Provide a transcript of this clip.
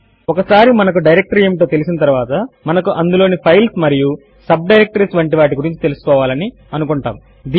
ఒకసారి మనకు డైరెక్టరీ ఏమిటో తెలిసిన తరువాత మనకు అందులోని ఫైల్స్ మరియు సబ్ డైరెక్టరీస్ వంటి వాటి గురించి తెలుసుకోవాలని అనుకుంటాము